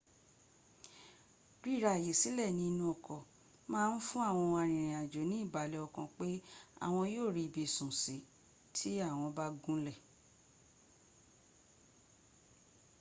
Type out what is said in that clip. ríra àyè sílẹ̀ ní inú ọkọ̀ máa ń fún àwọn arìnrìnàjò ní ìbàlẹ̀ ọkàn pé àwọn yóò rí ibi sùn sí tí àwọn bá gúnlẹ̀